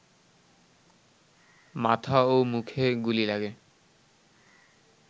মাথা ও মুখে গুলি লাগে